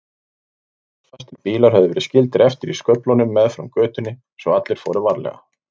Klossfastir bílar höfðu verið skildir eftir í sköflunum meðfram götunni svo allir fóru varlega.